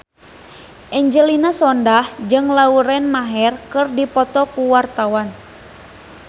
Angelina Sondakh jeung Lauren Maher keur dipoto ku wartawan